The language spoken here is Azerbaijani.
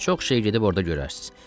Çox şey gedib orda görərsiz.